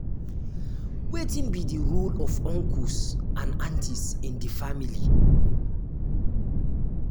wetin be di di role of uncles and aunties in di family?